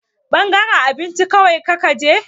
Ɓangaren abinci kawai kika je?